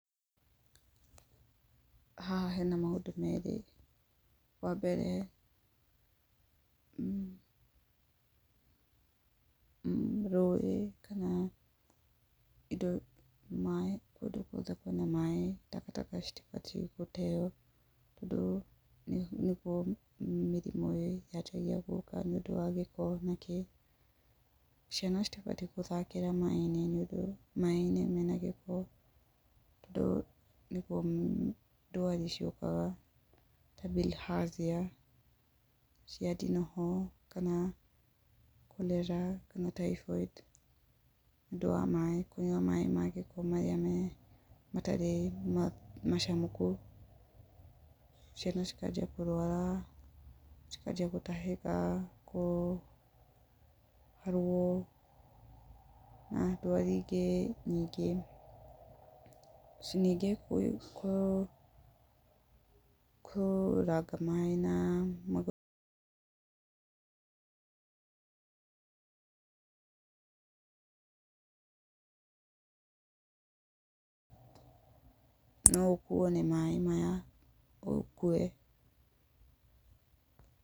Haha hena maũndũ merĩ, wa mbere, rũĩ kana indo, maaĩ, kũndũ guothe kwĩna maaĩ, takataka citibatiĩ gũteo, tondũ nĩguo mĩrimũ yanjagia gũka nĩ ũndũ wa gĩko na kĩ. Ciana citibatiĩ gũthakĩra maaĩ-inĩ tondũ maaĩ-inĩ mena gĩko, tondũ nĩguo ndwari ciũkaga, ta Bilhazia cia ndinoho kana chorela kana Typhoid, nĩ ũndũ wa maaĩ, kũnyua maaĩ magĩko, marĩa matarĩ macamũku, ciana cikanjia kũrwara, cikanjia gũtahĩka, kũharwo, na ndwari ingĩ nyingĩ. Ningĩ kũranga maaĩ na magũrũ no ũkuo nĩ maaĩ maya, ũkue.